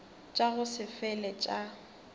tša go se fele tša